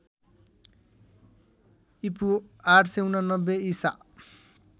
ईपू ८८९ ईसा